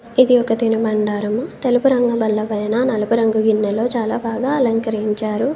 ఇది ఒక తినుబండారము తెలుపు రంగు బల్ల పైన నలుపు రంగు గిన్నెలో చాలా బాగా అలంకరించారు.